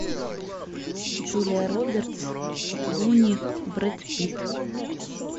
джулия робертс клуни брэд питт